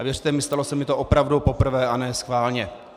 A věřte mi, stalo se mi to opravdu poprvé a ne schválně.